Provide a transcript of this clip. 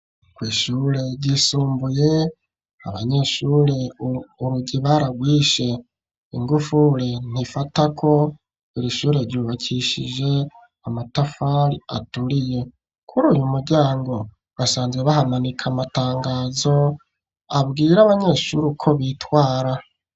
Kw'ishure ryisumbuye abanyeshure urugi baragwishe, ingufure ntifatako iri shure ryubakishije amatafari aturiye kuri uyu muryango basanzwe bahamanika amatangazo abwire abanyeshure ko bitwara.